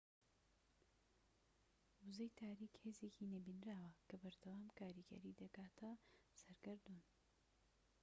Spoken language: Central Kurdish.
وزەی تاریك هێزێکی نەبینراوە کە بەردەوام کاریگەری دەکاتە سەر گەردوون